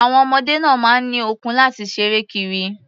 Àwon ọmọdé náà máa ń ní okun láti ṣeré kiri.